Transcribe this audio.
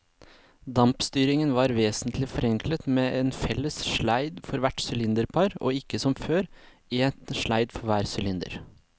Dampstyringen var vesentlig forenklet med en felles sleid for hvert sylinderpar og ikke som før, en sleid for hver sylinder.